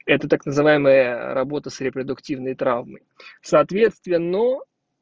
это так называемая работа с репродуктивной травмой соответственно